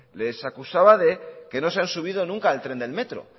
les acusaba de que no se han subido nunca al tren del metro